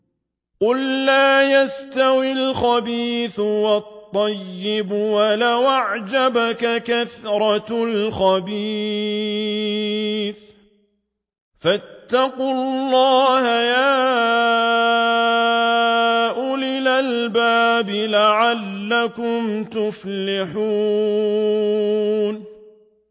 قُل لَّا يَسْتَوِي الْخَبِيثُ وَالطَّيِّبُ وَلَوْ أَعْجَبَكَ كَثْرَةُ الْخَبِيثِ ۚ فَاتَّقُوا اللَّهَ يَا أُولِي الْأَلْبَابِ لَعَلَّكُمْ تُفْلِحُونَ